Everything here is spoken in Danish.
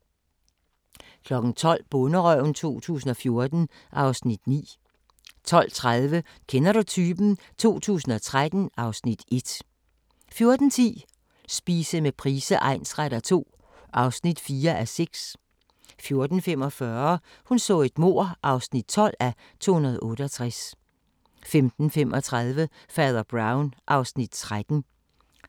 12:00: Bonderøven 2014 (Afs. 9) 12:30: Kender du typen? 2013 (Afs. 1) 14:10: Spise med Price egnsretter II (4:6) 14:45: Hun så et mord (12:268) 15:35: Fader Brown (Afs. 13)